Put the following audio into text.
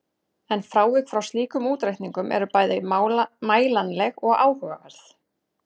En frávik frá slíkum útreikningum eru bæði mælanleg og áhugaverð.